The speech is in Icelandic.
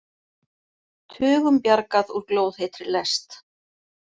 Tugum bjargað úr glóðheitri lest